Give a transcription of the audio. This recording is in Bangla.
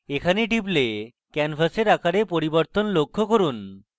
এখানে টিপলে ক্যানভাসের আকারে পরিবর্তন লক্ষ্য করুন